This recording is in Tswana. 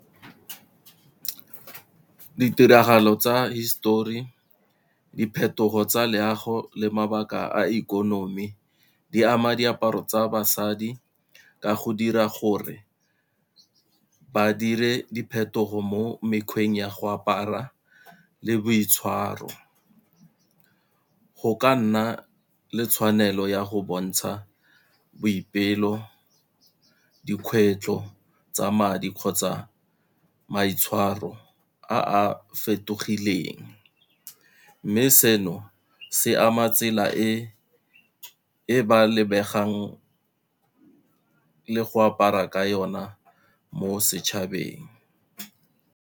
Ditiragalo tsa hisetori, diphetogo tsa loago le mabaka a ikonomi, di ama diaparo tsa basadi ka go dira gore badire diphetogo mo mekgweng ya go apara le boitshwaro. Go ka nna le tshwanelo ya go bontsha boipelo, dikgwetlho tsa madi kgotsa maitshwaro a a fetogileng, mme seno se ama tsela e ba lebegang le go apara ka ona mo setšhabeng.